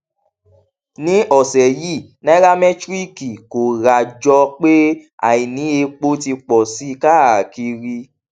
ní ọsẹ yìí nairamétíríkì kóra jọ pé àìní epo ti pọ sí i káàkiri